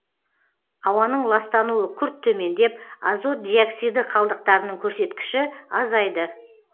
ауаның ластануы күрт төмендеп азот диоксиді қалдықтарының көрсеткіші азайды